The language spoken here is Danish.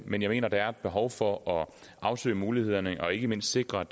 men jeg mener der er behov for at afsøge mulighederne og ikke mindst sikre